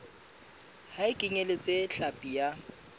ha e kenyeletse hlapi ya